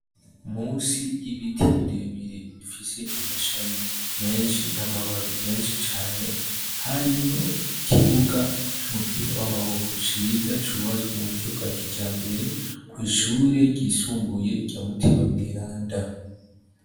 Munsi y'ibiti birebire bifise amashami menshi n'amababi menshi cane, harimwo ikibuga c'umupira w'amaboko ciza cubatswe mu buryo bwa kijambere, kw'ishure ryisumbuye rya Mutima Mweranda.